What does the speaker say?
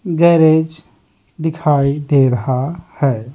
Garage दिखाई दे रहा है।